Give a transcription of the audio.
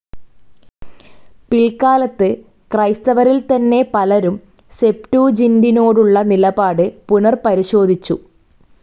പിൽക്കാലത്ത് ക്രൈസ്തവരിൽതന്നെ പലരും സെപ്റ്റൂജിൻ്റിനോടുള്ള നിലപാട് പുനർപരിശോധിച്ചു.